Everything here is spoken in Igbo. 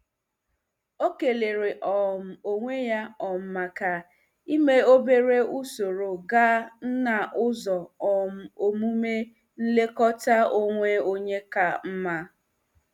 O kelere um onwe ya um maka ịme obere usoro gaa n'ụzọ um omume nlekọta onwe onye ka mma.